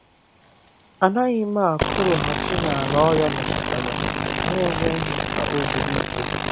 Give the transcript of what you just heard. A naghị m akụrụghachi n’ala ọrịa metụtara n’enweghị ka o zuru ike.